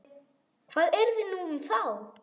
Hvað yrði nú um þá?